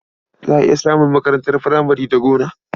Za a iya samun makarantar furamare da gona.